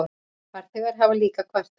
Farþegar hafa líka kvartað.